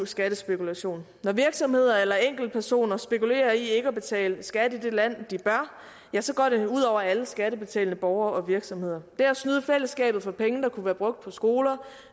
skattespekulation når virksomheder eller enkeltpersoner spekulerer i ikke at betale skat til det land de bør ja så går det ud over alle skattebetalende borgere og virksomheder det er at snyde fællesskabet for penge der kunne være brugt på skoler